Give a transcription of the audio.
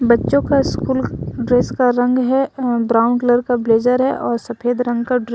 बच्चों का school dress का रंग है अ ब्राउन कलर का ब्लेजर है और सफेद रंग का ड्रे--